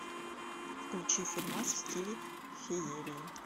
включи фильмас в стиле феерии